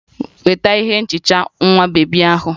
Weta ihe nhicha nwa bebi ahụ!